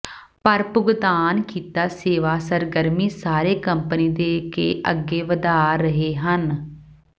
ਪਰ ਭੁਗਤਾਨ ਕੀਤਾ ਸੇਵਾ ਸਰਗਰਮੀ ਸਾਰੇ ਕੰਪਨੀ ਦੇ ਕੇ ਅੱਗੇ ਵਧਾਇਆ ਰਹੇ ਹਨ